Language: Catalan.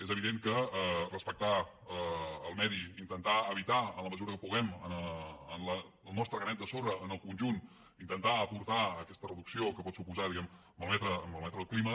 és evident que respectar el medi intentar evitar en la mesura que puguem amb el nostre granet de sorra en el conjunt intentar aportar aquesta reducció que pot suposar a malmetre el clima